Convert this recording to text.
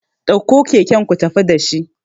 ɗauko kaken ku tafi da shi